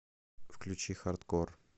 включи хардкор